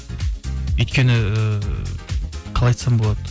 өйткені ыыы қалай айтсам болады